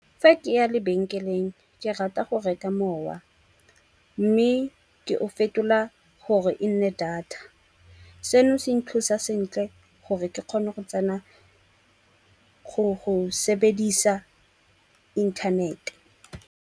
Fa ke ya lebenkeleng ke rata go reka mowa, mme ke o fetola gore e nne data. Seno se nthusa sentle gore ke kgone go tsena go sebedisa inthanete.